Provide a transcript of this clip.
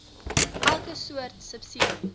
elke soort subsidie